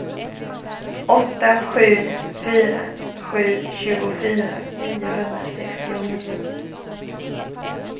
åtta sju fyra sju tjugofyra niohundrasextionio